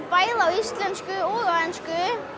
bæði á íslensku og ensku